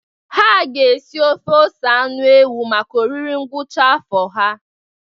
Ha ga-esi ofe ose anụ ewu maka oriri ngwụcha afọ ha.